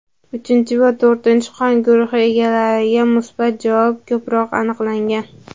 uchinchi va to‘rtinchi qon guruhi egalarida musbat javob ko‘proq aniqlangan.